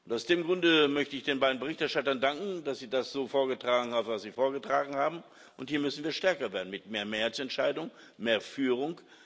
Aus dem Grunde möchte ich den beiden Berichterstattern danken, dass sie das so vorgetragen haben, was sie vorgetragen haben. Hier müssen wir stärker werden mit mehr Mehrheitsentscheidungen, mehr Führung.